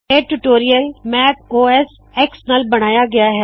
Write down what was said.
ਇਹ tutorial Mac OS X ਨਾਲ ਬਨਾਇਆ ਗਇਆ ਹੈ